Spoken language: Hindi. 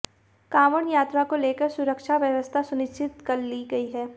कांवड़ यात्रा को लेकर सुरक्षा व्यवस्था सुनिश्चित कर ली गई है